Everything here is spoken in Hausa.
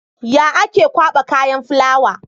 Ya ake kwaba kayan fulawa?